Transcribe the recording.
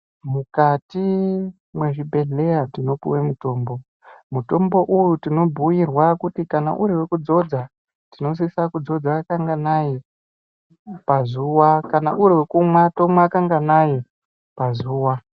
Mukati mwezvibhehleya tinopuwe mitombo uyu tinobhuyirwa kuti kana uri wekudzodza tinosise kudzodza kanganai pazuwa, kana uri wekumwa tomwa kanganayi pazuwa.